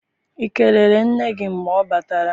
I kelere nne gị mgbe ọ batara?